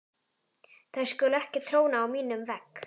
Þær skulu ekki tróna á mínum vegg.